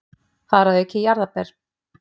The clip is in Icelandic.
Þar að auki jarðarber.